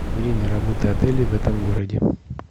время работы отеля в этом городе